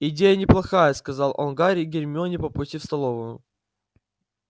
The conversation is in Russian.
идея неплохая сказал он гарри и гермионе по пути в столовую